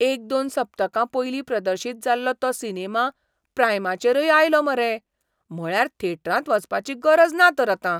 एक दोन सप्तकां पयलीं प्रदर्शीत जाल्लो तो सिनेमा प्रायमाचेरय आयलो मरे! म्हळ्यार थेटरांत वचपाची गरज ना तर आतां!